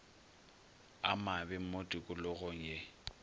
a mabe mo tikologong ye